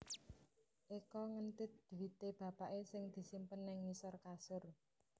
Eko ngentit dhuwite bapake sing disimpen nang ngisor kasur